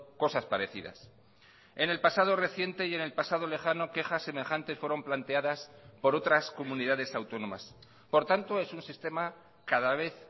cosas parecidas en el pasado reciente y en el pasado lejano quejas semejantes fueron planteadas por otras comunidades autónomas por tanto es un sistema cada vez